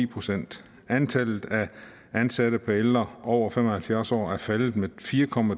procent antallet af ansatte per ældre over fem og halvfjerds år er faldet med fire